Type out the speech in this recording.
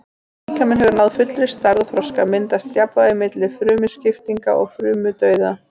Þegar líkaminn hefur náð fullri stærð og þroska myndast jafnvægi milli frumuskiptinga og frumudauða.